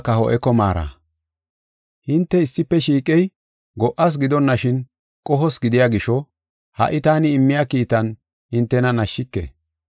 Hinte issife shiiqey go77as gidonashin qohos gidiya gisho, ha77i taani immiya kiitan hintena nashike.